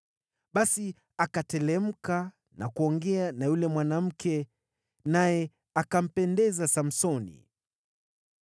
Basi akateremka na kuongea na yule mwanamke, naye akampendeza Samsoni.